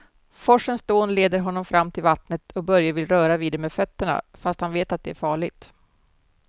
Forsens dån leder honom fram till vattnet och Börje vill röra vid det med fötterna, fast han vet att det är farligt.